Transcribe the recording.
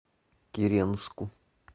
киренску